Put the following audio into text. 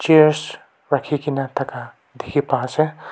rakhi gina thaka dikhi pa ase.